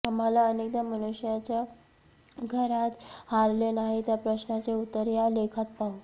आम्हाला अनेकदा मनुष्याच्या घरात हारले नाही त्या प्रश्नाचे उत्तर या लेखात पाहू